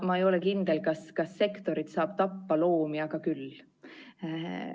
Ma ei ole kindel, kas sektorit saab tappa, loomi aga küll.